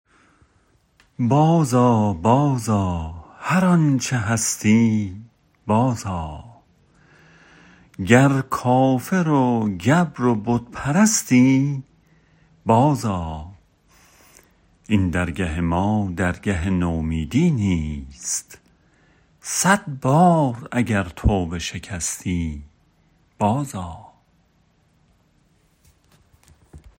باز آ باز آ هر آنچه هستی باز آ گر کافر و گبر و بت پرستی باز آ این درگه ما درگه نومیدی نیست صد بار اگر توبه شکستی باز آ